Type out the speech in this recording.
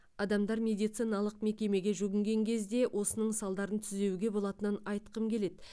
адамдар медициналық мекемеге жүгінген кезде осының салдарын түзеуге болатынын айтқым келеді